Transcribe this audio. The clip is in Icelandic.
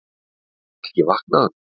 Er hann ekki vaknaður!